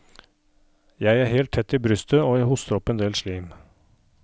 Jeg er helt tett i brystet og jeg hoster opp en del slim.